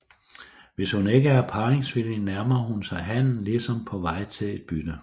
Hvis hun ikke er parringsvillig nærmer hun sig hannen ligesom på vej til et bytte